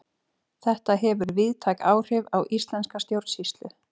þetta hefur víðtæk áhrif á íslenska stjórnsýslu